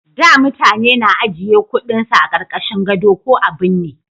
Da mutane na ajiye kudin su a karkashin gado ko a binne